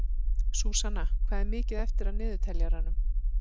Súsanna, hvað er mikið eftir af niðurteljaranum?